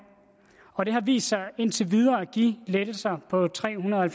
og det har vist sig indtil videre at give lettelser på tre hundrede og